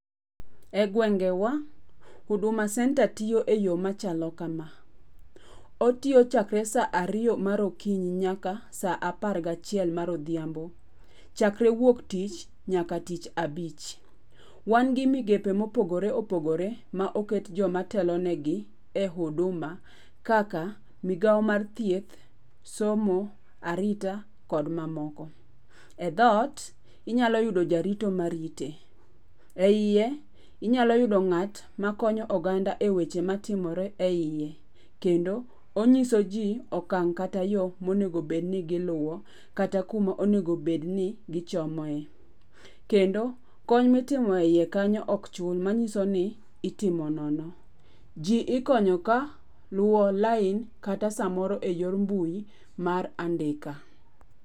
Egwenge wa, Huduma Centre tiyo eyo machalo kama. Otiyo chakre saa ariyo mar okinyi nyaka saa apar gachiel mar odhiambo, chakre wuok tich nyaka tich abich. Wan gi migepe mopogore opogore ma oket joma telo negi e Huduma kaka migao mar thieth, somo, arita kod mamoko. E dhoot, inyalo yudo jarito marite, eiye, inyalo yudo ng'at makonyo oganda e weche matimore eiye. Kendo, onyisoji okang' kata yo monego bed ni giluo kata kuma onego bedni gichomoe. Kendo kony mitimo eiye kanyo ok chul manyiso ni itimo nono. Ji ikonyo ka luo lain, kata samoro eyor mbui mar andika.